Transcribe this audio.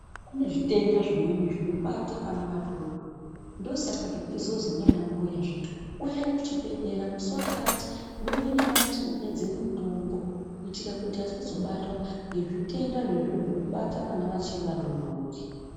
Kune zvitenda zvimweni zvinobata vana vadodori, ndosaka zvichizozi ndiana mbuya zviya uyayi kuchibhedhlera musi vakati muuye nevana tidonhedzere mutombo. Kuitira kuti asazobatwa ngezvitenda zvezvinobata vana vachiri vadodori.